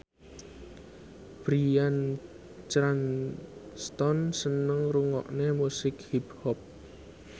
Bryan Cranston seneng ngrungokne musik hip hop